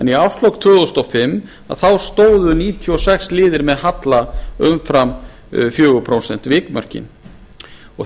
í árslok tvö þúsund og fimm stóðu níutíu og sex liðir með halla umfram vikmörk